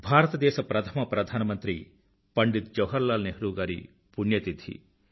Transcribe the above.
భారతదేశ ప్రధమ ప్రధానమంత్రి పండిత్ జవహర్లాల్ నెహ్రూ గారి పుణ్యతిథి